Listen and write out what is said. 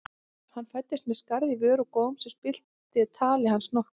Hann fæddist með skarð í vör og góm sem spillti tali hans nokkuð.